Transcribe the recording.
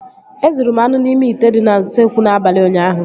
Ezuru m anụ n'ime ite dị n'usekwu n'abalị ụnyaahụ